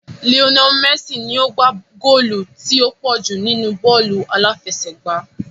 Lionel Messi ni ó gbá góòlù tí ó pọ̀ jù nínú bọ́ọ̀lù aláfẹsẹ̀gbá